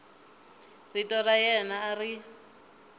rito ra yena a ri